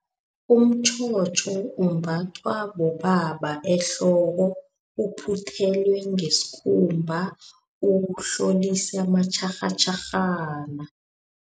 Umtjhotjho umbathwa bobaba ehloko uphuthelwe ngesikhumba ukuhlolisa matjharhatjharhana.